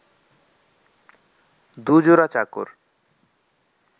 দু-জোড়া চাকর